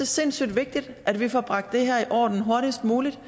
sindssyg vigtigt at vi får bragt det her i orden hurtigst muligt